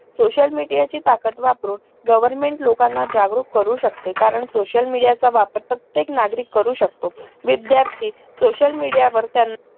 social media ची ताकत वापरून government लोकांना जागृत करू शकते कारण social media चा वापर प्रत्येक नागरिक करू शकतो विद्यार्थी social media वर त्यानं